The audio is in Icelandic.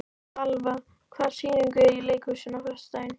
Valva, hvaða sýningar eru í leikhúsinu á föstudaginn?